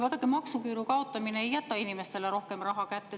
Vaadake, maksuküüru kaotamine ei jäta inimestele rohkem raha kätte.